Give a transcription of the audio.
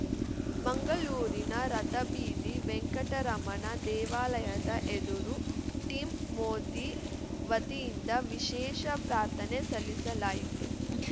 ಮಂಗಳೂರಿನ ರಥಬೀದಿ ವೆಂಕಟರಮಣ ದೇವಾಲಯದ ಎದುರು ಟೀಂ ಮೋದಿ ವತಿಯಿಂದ ವಿಶೇಷ ಪ್ರಾರ್ಥನೆ ಸಲ್ಲಿಸಲಾಯಿತು